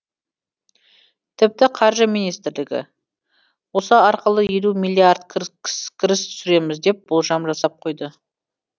тіпті қаржы министрлігі осы арқылы елу миллиард кіріс түсіреміз деп болжам жасап қойды